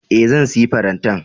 E, zan sayi farantan.